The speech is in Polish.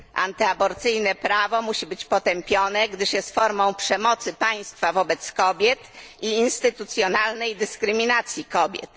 Antyaborcyjne prawo musi być potępione, gdyż jest formą przemocy państwa wobec kobiet i instytucjonalnej dyskryminacji kobiet.